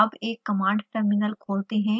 अब एक command terminal खोलते हैं